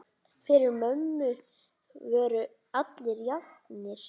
Fyrir mömmu voru allir jafnir.